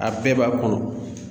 A bɛɛ b'a bolo